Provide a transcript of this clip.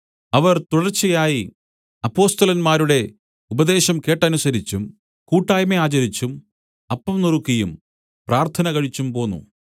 അവർ തുടർച്ചയായി അപ്പൊസ്തലന്മാരുടെ ഉപദേശം കേട്ടനുസരിച്ചും കൂട്ടായ്മ ആചരിച്ചും അപ്പം നുറുക്കിയും പ്രാർത്ഥന കഴിച്ചും പോന്നു